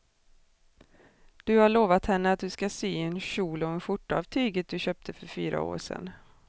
Du har lovat henne att du ska sy en kjol och skjorta av tyget du köpte för fyra år sedan.